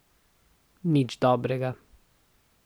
Nič dobrega.